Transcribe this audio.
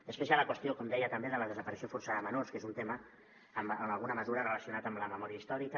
després hi ha la qüestió com deia també de la desaparició forçada de menors que és un tema en alguna mesura relacionat amb la memòria històrica